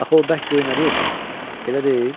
Axı o bərk göynədir, elə deyil?